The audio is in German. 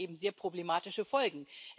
Aber es hat eben sehr problematische Folgen.